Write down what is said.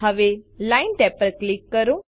હવે line tab પર click કરો